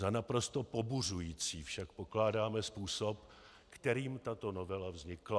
Za naprosto pobuřující však pokládáme způsob, kterým tato novela vznikla.